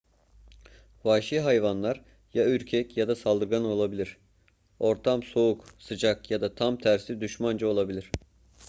vahşi hayvanlar ya ürkek ya da saldırgan olabilir ortam soğuk sıcak ya da tam tersi düşmanca olabilir